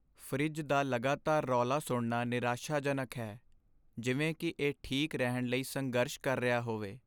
Fridge ਦਾ ਲਗਾਤਾਰ ਰੌਲਾ ਸੁਣਨਾ ਨਿਰਾਸ਼ਾਜਨਕ ਹੈ, ਜਿਵੇਂ ਕਿ ਇਹ ਠੀਕ ਰਹਿਣ ਲਈ ਸੰਘਰਸ਼ ਕਰ ਰਿਹਾ ਹੋਵੇ।